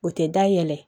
O tɛ da yɛlɛ